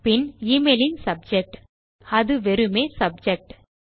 பின் email இன் subject அது வெறுமே சப்ஜெக்ட்